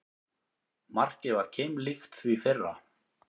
Markið var keimlíkt því fyrra